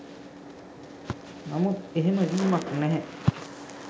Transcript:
නමුත් එහෙම වීමක් නැහැ.